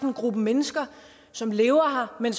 en gruppe mennesker som lever her men